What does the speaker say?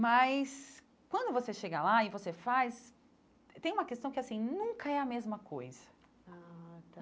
Mas quando você chega lá e você faz, tem uma questão que assim nunca é a mesma coisa ah tá.